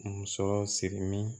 Musɔrɔ sirimin